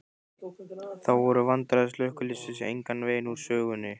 Þó voru vandræði slökkviliðsins engan veginn úr sögunni.